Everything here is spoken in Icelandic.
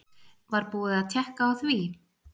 Var búið að tékka á því?